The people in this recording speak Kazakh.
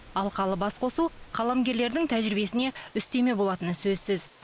алқалы басқосу қаламгерлердің тәжірибесіне үстеме болатыны сөзсіз